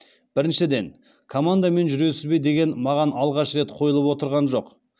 біріншіден командамен жүресіз бе деген маған алғаш рет қойылып отырған жоқ